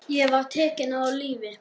Ég var tekinn af lífi.